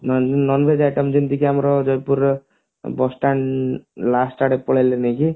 nonveg item ଯେମତିକି ଆମର bus stand last ଆଡେ ପଳେଇଲେ ନୁହେଁ କି